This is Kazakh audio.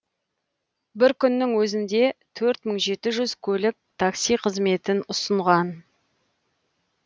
бір күннің өзінде төрт мың жеті жүз көлік такси қызметін ұсынған